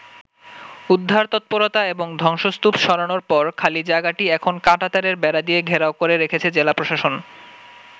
উদ্ধার তৎপরতা এবং ধ্বংসস্তূপ সরানোর পর খালি জায়গাটি এখন কাঁটাতারের বেড়া দিয়ে ঘেরাও করে রেখেছে জেলা প্রশাসন।